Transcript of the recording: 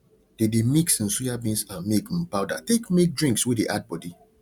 they dey mix um soyabeans and milk um powder take make drinks wey de add body